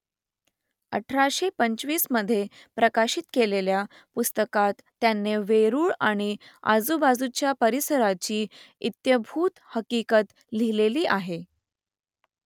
अठराशे पंचवीसमधे प्रकाशित केलेल्या पुस्तकात त्याने वेरूळ आणि आजूबाजूच्या परिसराची इत्थंभूत हकीकत लिहिलेली आहे